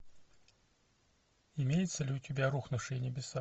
имеется ли у тебя рухнувшие небеса